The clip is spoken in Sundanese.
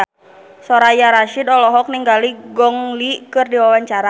Soraya Rasyid olohok ningali Gong Li keur diwawancara